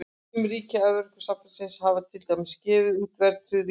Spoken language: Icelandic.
Sum ríkja Evrópusambandsins hafa til dæmis gefið út verðtryggð ríkisskuldabréf.